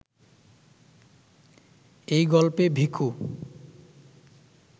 এই গল্পে ভিখু